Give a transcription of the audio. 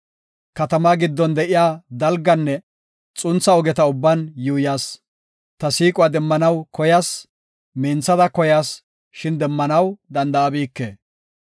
Katamaa giddon de7iya dalganne xuntha ogeta ubban yuuyas. Ta siiquwa demmanaw koyas; minthada koyas; shin demmanaw danda7abike.